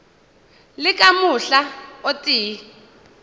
le ka mohla o tee